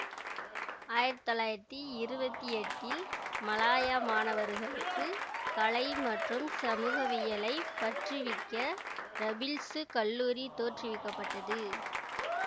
ஆயிரத்தி தொள்ளாயிரத்தி இருவத்தி எட்டில் மலாய மாணவர்களுக்கு கலை மற்றும் சமூகவியலைப் பற்றுவிக்க ரபிள்சு கல்லூரி தோற்றுவிக்க பட்டது